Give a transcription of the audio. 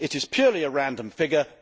It is a purely random figure.